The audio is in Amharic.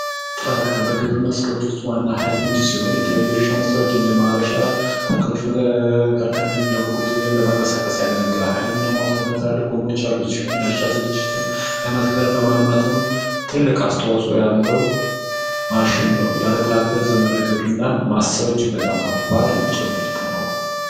ትራክተር በግብርና ስራዎች ውስጥ የእርሻ መሳሪያዎች እንደማረሻ እንደመጎተቻ ያገለግላል ሞተርና ትልልቅ ጎማዎች ያሉት ሲሆን ለእርሻ ዝግጅት ለመትከልም ለማልማትም ትልቅ አስተዋጽኦ ያለው ማሽን ነው የትራክተር ዘመናዊ እርሻን ማሰብ እጅግ በጣም ከባድ ጭምርት ነው።